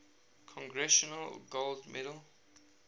congressional gold medal